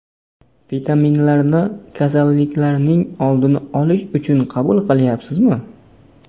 Vitaminlarni kasalliklarning oldini olish uchun qabul qilayapsizmi?